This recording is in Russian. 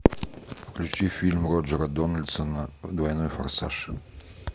включи фильм роджера дональдсона двойной форсаж